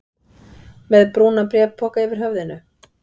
Með brúnan bréfpoka yfir höfðinu?